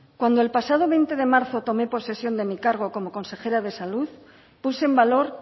cuando el pasado veinte de marzo tomé posesión de mi cargo como consejera de salud puse en valor